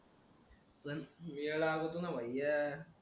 आपण आलो होतो ना भैय्या